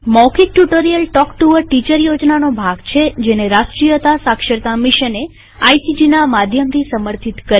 મૌખિક tutorial talk to a teacher યોજનાનો ભાગ છેજેને રાષ્ટ્રીય સાક્ષરતા મિશને આઇસીટી ના માધ્યમથી સમર્થિત કરેલ છે